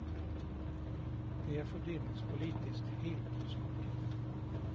Det är fördelningspolitiskt helt åt skogen.